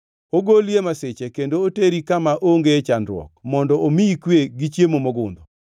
“Ogoli e masiche kendo oteri kama onge chandruok mondo omiyi kwe gi chiemo mogundho.